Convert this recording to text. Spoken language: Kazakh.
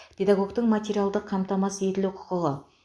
педагогтің материалдық қамтамасыз етілу құқығы